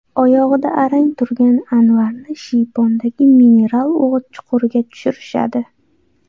Oyog‘ida arang turgan Anvarni shiypondagi mineral o‘g‘it chuquriga tushirishadi.